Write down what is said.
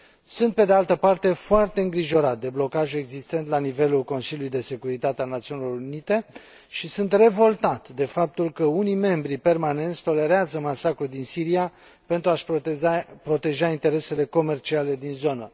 Sunt, pe de altă parte, foarte îngrijorat de blocajul existent la nivelul Consiliului de Securitate al Națiunilor Unite și sunt revoltat de faptul că unii membri permanenți tolerează masacrul din Siria pentru a și proteja interesele comerciale din zonă.